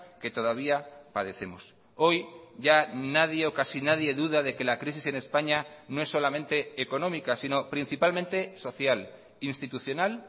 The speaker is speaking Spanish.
que todavía padecemos hoy ya nadie o casi nadie duda de que la crisis en españa no es solamente económica sino principalmente social institucional